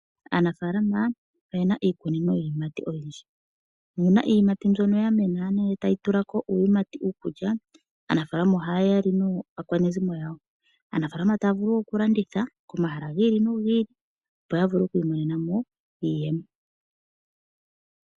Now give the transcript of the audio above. Aanafaalama oyena iikunino yiiyimati oyindji. Oyena iiyimati mbyono ya mena nee ndele tayi tulako iiyimati iikulya. Aanafaalama ohaya li naakwanezimo yawo. Aanafaalama taya vulu oku landitha komahala gi ili nogi ili opo yavule oku imonenamo iiyemo.